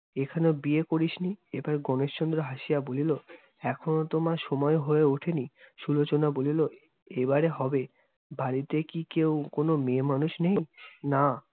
এখনো বিয়ে করিস নি? এবার গণেশচন্দ্র হাসিয়া বলিল, এখনো তো মা সময় হয়ে উঠেনি। সুলোচনা বলিল, এইবারে হবে। বাড়িতে কি কেও কোন মেয়ে মানুষ নেই? না।